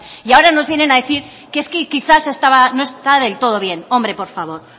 y ahora nos vienen a decir que es que quizá no estaba del todo bien